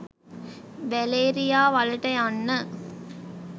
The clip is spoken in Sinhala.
වැලේරියා වලට යන්න